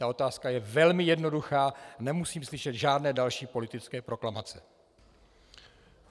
Ta otázka je velmi jednoduchá, nemusím slyšet žádné další politické proklamace.